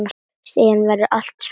Síðan verður allt svart.